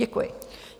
Děkuji.